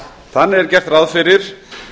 þannig er gert ráð fyrir